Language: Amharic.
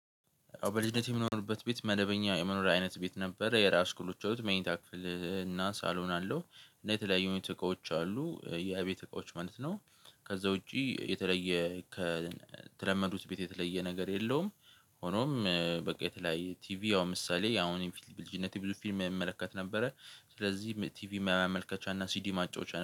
በልጅነቴ የምኖርበት ቤት መደበኛ የመኖሪያ አይነት ቤት ነበረ። የራሱ ክፍሎች አሉት። መኝታ ክፍል እና ሳሎን አለው። እና የተለያዩ አይነት እቃዎች አሉ የቤት እቃዎች ማለት ነው። ከዛ ውጪ የተለየ ከተለመዱት ቤት የተለየ ነገር የለውም። ሆኖም በቃ የተለያየ ቲቪ ያው ምሳሌ አሁን ፊልም ብልጅነቴ ብዙ ፊልም እመለከት ነበረ ስለዚህ ቲቪ ማመልከቻ እና ሲዲ ማጫወቻ